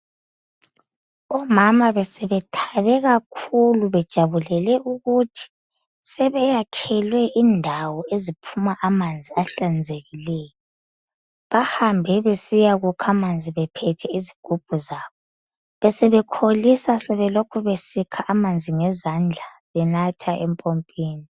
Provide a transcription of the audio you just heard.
Omama besebethabe kakhulu bejabulele ukuthi sebeyakhelwe indawo eziphuma amanzi ahlanzekileyo. Bahambe besiyakukha amanzi bephethe izigubhu zabo. Besebekholisa sebelokhu besikha amanzi ngezandla benatha empompini.